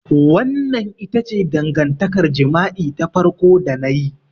Wannan ita ce dangantakar jima'i ta farko da na yi.